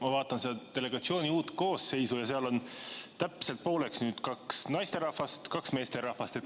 Ma vaatan seda delegatsiooni uut koosseisu ja seal on nüüd täpselt pooleks – kaks naisterahvast, kaks meesterahvast.